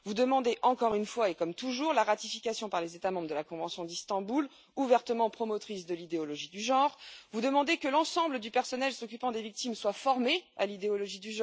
Vous demandez, encore une fois et comme toujours, la ratification par les États membres de la convention d'Istanbul, ouvertement promotrice de l'idéologie du genre, et vous demandez que l'ensemble du personnel s'occupant des victimes soit formé à cette idéologie.